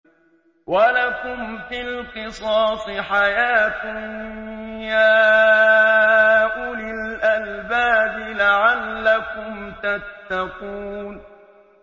وَلَكُمْ فِي الْقِصَاصِ حَيَاةٌ يَا أُولِي الْأَلْبَابِ لَعَلَّكُمْ تَتَّقُونَ